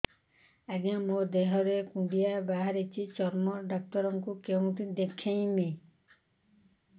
ଆଜ୍ଞା ମୋ ଦେହ ରେ କୁଣ୍ଡିଆ ବାହାରିଛି ଚର୍ମ ଡାକ୍ତର ଙ୍କୁ କେଉଁଠି ଦେଖେଇମି